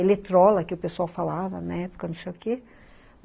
Eletrola, que o pessoal falava na época, não sei o quê.